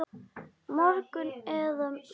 Morgun eða hinn.